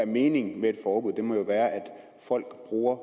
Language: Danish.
meningen med et forbud at folk bruger